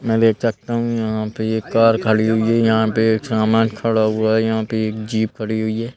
मैं देख सकता हूं यहां पे ये कार खड़ी हुई है यहां पे एक सामान खड़ा हुआ है यहां पे एक जीप खड़ी हुई है।